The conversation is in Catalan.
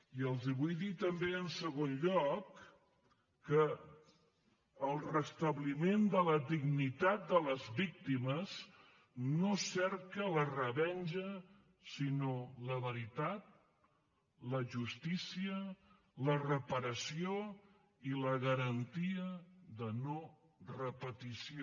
i els vull dir també en segon lloc que el restabliment de la dignitat de les víctimes no cerca la revenja sinó la veritat la justícia la reparació i la garantia de no repetició